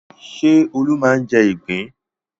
Ṣé Olú máa ń jẹ ìgbín?